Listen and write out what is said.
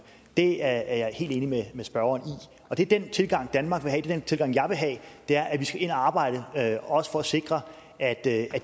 det er jeg helt enig med spørgeren i den tilgang danmark vil have den tilgang jeg vil have er at vi skal ind og arbejde også for at sikre at at